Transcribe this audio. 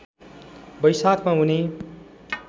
वैशाखमा उनी